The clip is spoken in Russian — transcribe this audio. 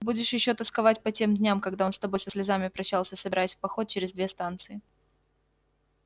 будешь ещё тосковать по тем дням когда он с тобой со слезами прощался собираясь в поход через две станции